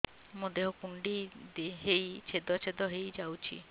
ମୋ ଦେହ କୁଣ୍ଡେଇ ହେଇ ଛେଦ ଛେଦ ହେଇ ଯାଉଛି